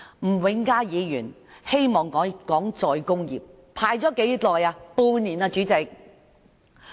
吳永嘉議員希望討論再工業化，輪候了多少時間？